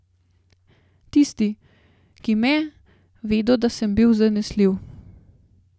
Tisti, ki me, vedo, da sem bil zanesljiv.